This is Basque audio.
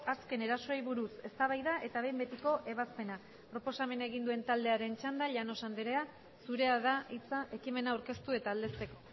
azken erasoei buruz eztabaida eta behin betiko ebazpena proposamena egin duen taldearen txanda llanos anderea zurea da hitza ekimena aurkeztu eta aldezteko